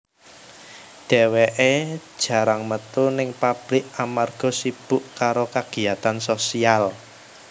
Dheweké jarang metu ning pablik amarga sibuk karo kagiyatan sosial